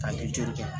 Ka lejuru kɛ